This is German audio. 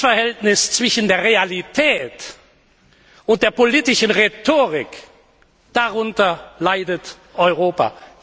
Dieses Missverhältnis zwischen der Realität und der politischen Rhetorik darunter leidet Europa.